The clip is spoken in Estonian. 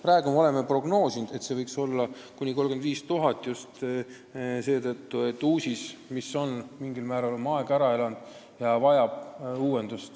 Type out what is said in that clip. Praegu oleme prognoosinud, et see summa võiks olla kuni 35 000 eurot, just seetõttu, et UUSIS, mis on mingil määral oma aja ära elanud, vajab uuendust.